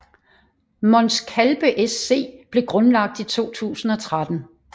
Mons Calpe SC blev grundlagt i 2013